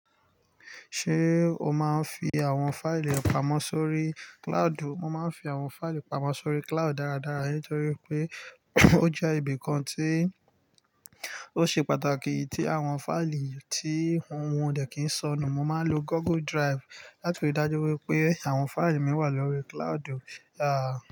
Ṣé o máa ń fi àwọn fáìlì pamọ́ sórí cloud? Mo máa ń fi àwọn fáìlì pamọ́ sórí cloud dáradára nítorí pé ó jẹ́ ibi kan tí ó ṣe pàtàkì tí àwọn fáìlì tí wọ́n dẹ̀ kí ń sọnù. Mo máa ń lo Google Drive láti rí i dájú wípé àwọn fáìlì mi wà lórí cloud, àáàh.